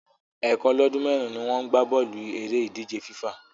Ẹ̀ẹ̀kan lọ́dún mẹ́rin ni wọ́n ń gbá bọ́ọ̀lù eré ìdíje FIFA